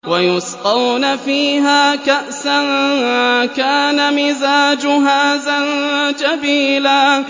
وَيُسْقَوْنَ فِيهَا كَأْسًا كَانَ مِزَاجُهَا زَنجَبِيلًا